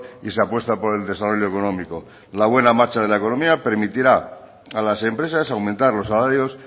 y se apuesta por el desarrollo económico la buena marcha de la economía permitirá a las empresas aumentar los salarios